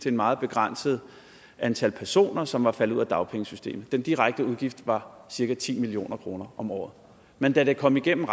et meget begrænset antal personer som var faldet ud af dagpengesystemet den direkte udgift var cirka ti million kroner om året men da det kom igennem